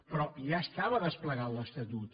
però ja estava desplegat l’estatut